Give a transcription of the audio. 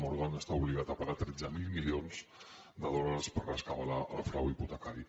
morgan està obligat a pagar tretze mil milions de dòlars per rescabalar el frau hipotecari